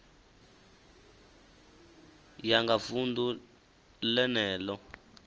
ya nga vunḓu ḽene ḽo